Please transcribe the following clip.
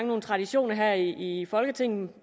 nogle traditioner her i folketinget